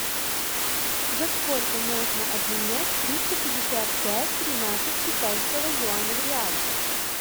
за сколько можно обменять триста пятьдесят пять тринадцать китайского юаня в реалах